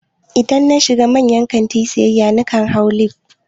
Idan na shiga manyan kantina siyayya, na kan hau lif